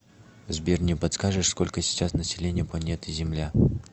сбер не подскажешь сколько сейчас население планеты земля